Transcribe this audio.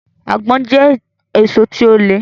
Àgbọ̀n jẹ́ èso tí ó le